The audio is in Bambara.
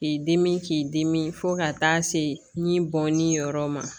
K'i dimi k'i dimi fo ka taa se ni bɔn ni yɔrɔ ma